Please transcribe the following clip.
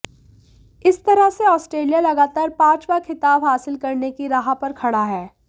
इस तरह से आस्ट्रेलिया लगातार पांचवां खिताब हासिल करने की राह पर खड़ा है